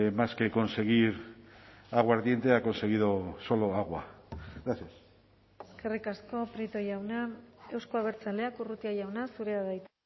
más que conseguir aguardiente ha conseguido solo agua gracias eskerrik asko prieto jauna euzko abertzaleak urrutia jauna zurea da hitza